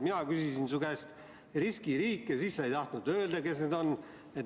Mina küsisin su käest riskiriike, sa ei tahtnud öelda, kes need on.